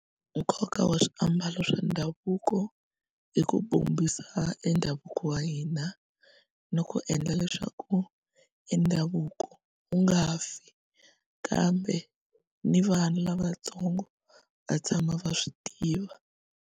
Nkoka wa swiambalo swa ndhavuko i ku bombisa endhavuko wa hina ni ku endla leswaku endhavuko wu nga fi kambe ni vana lavatsongo va tshama va swi tiva.